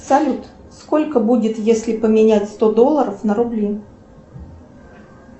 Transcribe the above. салют сколько будет если поменять сто долларов на рубли